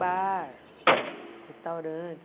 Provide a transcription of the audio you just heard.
Bar, restaurante.